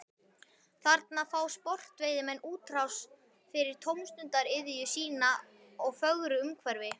Þarna fá sportveiðimenn útrás fyrir tómstundaiðju sína í fögru umhverfi.